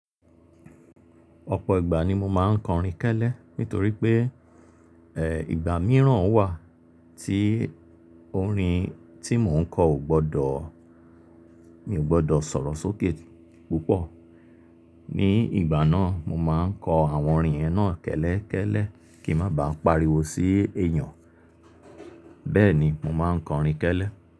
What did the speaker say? Ọ̀pọ̀ ìgbà ni mo máa ń kọrin kẹ́lẹ́ nítorí pé, ẹ́ ìgbà mìíràn wà tí orin tí mò ń kọ ò gbọdọ̀, mi ò gbọdọ̀ sọ̀rọ̀ sókè púpọ̀. Ní ìgbà náà, mo máa ń kọ àwọn orin yen na kẹ́lẹ́ kẹ́lẹ́ kí má ba à pariwo sí èèyàn. Bẹ́ẹ̀ni, mo máa ń kọrin kẹ́lẹ́.